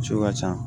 Misiw ka ca